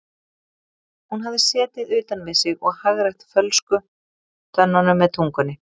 Hún hafði setið utan við sig og hagrætt fölsku tönnunum með tungunni.